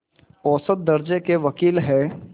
औसत दर्ज़े के वक़ील हैं